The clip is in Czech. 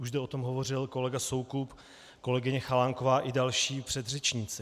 Už zde o tom hovořil kolega Soukup, kolegyně Chalánková i další předřečníci.